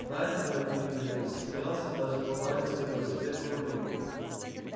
найд к моему удивлению засмеялся и даже погладил свой велосипед по рулю